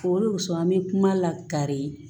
O de wusɔn an bɛ kuma lakari